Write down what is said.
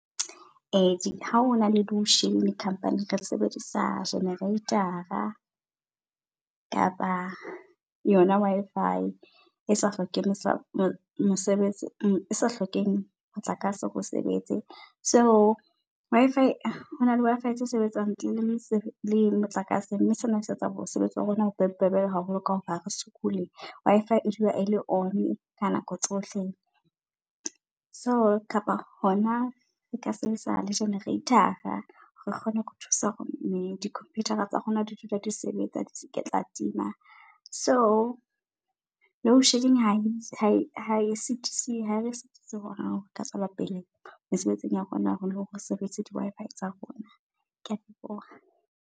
E ha hona le loadshedding company-ing re sebedisa generate-a kapa yona Wi-Fi esa hlokeng mosebetsi e sa hlokeheng motlakase hore e sebetse. So Wi-Fi hona le Wi-Fi tse sebetsangntle le motlakase. Mme sena se etsa mosebetsi wa rona bo bobebe haholo ka hore hare sokole. Wi-Fi e dula e le on ka nako tsohle. So, kapa hona re ka sebedusa le generate-ra. Re kgone ho thusa hore di-computer tsa rona di dula di sebetsa, di se ke tsa tima. So, load shedding ha ha e sisisi. Ha e re sitise hore re ka tswela pele mesebetsing ya rona hore re sebedise di Wi-Fi tsa rona. Kea leboha.